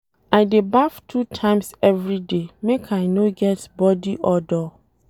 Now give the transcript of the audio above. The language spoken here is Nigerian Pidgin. I dey baff two times everyday make I no get bodi odour.